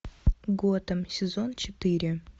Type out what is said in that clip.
готэм сезон четыре